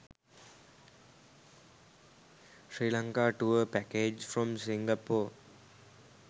sri lanka tour package from singapore